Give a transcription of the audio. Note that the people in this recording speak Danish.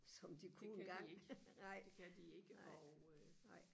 som de kunne engang nej nej